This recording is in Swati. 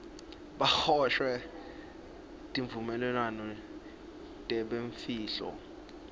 baboshwe tivumelwano tebumfihlo